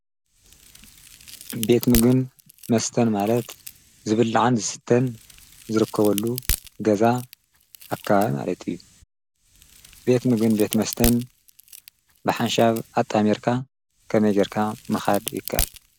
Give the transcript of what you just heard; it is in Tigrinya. ቤት ምግብን መስተን ማለት ግልጋሎት ወሃብቲ ኮይኖም ክልቲኡ መስተን ምግብን ዝሓዘ እዩ። ምግብን መስተን ከመይ ጌርካ ምጥማር ይከኣል?